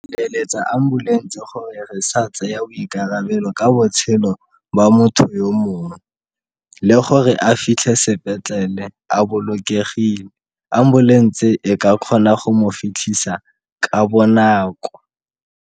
ambulense gore re sa tseya boikarabelo ka botshelo ba motho yo mongwe le gore a fitlhe sepetlele a bolokegile. Ambulense e ka kgona go mo fitlhisa ka bonako.